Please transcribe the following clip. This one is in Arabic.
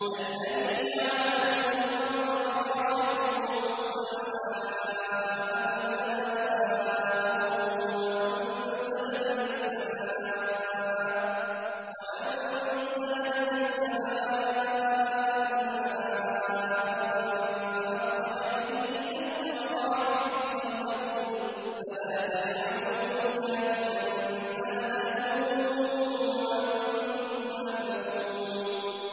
الَّذِي جَعَلَ لَكُمُ الْأَرْضَ فِرَاشًا وَالسَّمَاءَ بِنَاءً وَأَنزَلَ مِنَ السَّمَاءِ مَاءً فَأَخْرَجَ بِهِ مِنَ الثَّمَرَاتِ رِزْقًا لَّكُمْ ۖ فَلَا تَجْعَلُوا لِلَّهِ أَندَادًا وَأَنتُمْ تَعْلَمُونَ